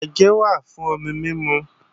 Àgé wà fún omi mímu